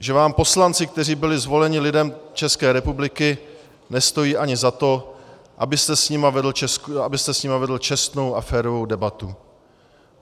Že vám poslanci, kteří byli zvoleni lidem České republiky, nestojí ani za to, abyste s nimi vedl čestnou a férovou debatu.